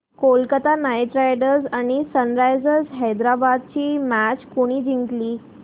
Kolkata Knight Riders आणि Sunrisers Hyderabad ही match कोणी जिंकली